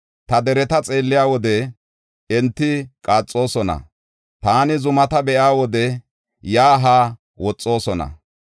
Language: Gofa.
Ta dereta xeelliya wode enti qaaxoosona; taani zumata be7iya wode yaa haa woxoosona.